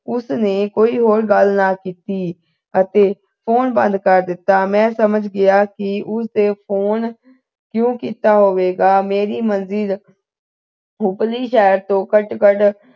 ਉਸ ਨੇ ਕੋਈ ਹੋਰ ਗੱਲ ਨਾ ਕੀਤੀ ਅਤੇ phone ਬੰਦ ਕਰ ਦਿੱਤਾ ਮੈਂ ਸਮਝ ਗਿਆ ਕੀ ਉਸ ਦੇ phone ਕਿਉਂ ਕੀਤਾ ਹੋਵੇਗਾ ਮੇਰੀ ਮਰਜ਼ੀ ਉਪਰਲੀ ਸ਼ਹਿਰ ਤੋਂ ਘੱਟ-ਘੱਟ